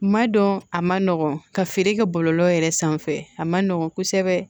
Ma dɔn a ma nɔgɔn ka feere kɛ bɔlɔlɔ yɛrɛ sanfɛ a ma nɔgɔn kosɛbɛ